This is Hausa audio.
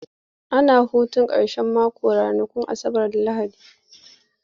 Ana hutun karshen mako ranakun Asabar da Lahadi.